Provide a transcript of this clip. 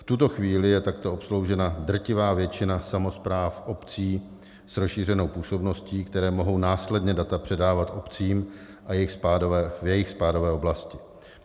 V tuto chvíli je takto obsloužena drtivá většina samospráv obcí s rozšířenou působností, které mohou následně data předávat obcím ve své spádové oblasti.